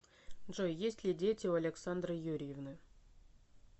джой есть ли дети у александры юрьевны